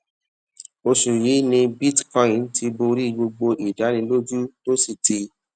oṣù yìí ni bitcoin ti borí gbogbo ìdánilójú tó sì ti